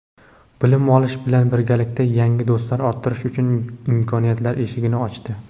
bilim olish bilan birgalikda yangi do‘stlar orttirish uchun imkoniyatlar eshigini ochdi.